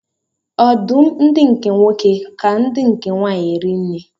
Ọdụm ndi nke nwoke ka ndi nke nwanyi eri nri.